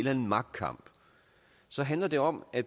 anden magtkamp så handler det om at